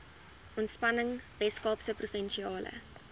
ontspanning weskaapse provinsiale